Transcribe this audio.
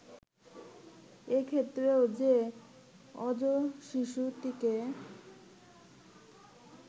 এ ক্ষেত্রেও যে অজশিশুটিকে